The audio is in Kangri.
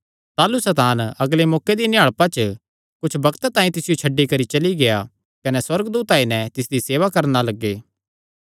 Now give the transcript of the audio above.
ताह़लू सैतान अगले मौके दिया निहाल़पा च कुच्छ बग्त तांई तिसियो छड्डी करी चली गेआ कने सुअर्गदूत आई नैं तिसदी सेवा करणा लग्गे